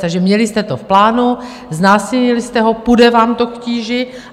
Takže měli jste to v plánu, znásilnili jste ho, půjde vám to k tíži.